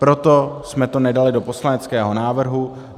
Proto jsme to nedali do poslaneckého návrhu.